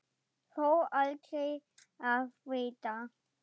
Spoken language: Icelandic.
Þó aldrei að vita.